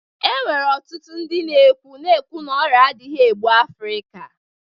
E nwere ọtụtụ ndị na-ekwu na-ekwu na ọrịa adịghị egbu African